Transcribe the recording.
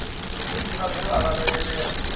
tshi ḓivha zwe vha lavhelela